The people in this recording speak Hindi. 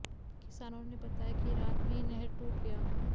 किसानों ने बताया कि रात में ही नहर टूट गया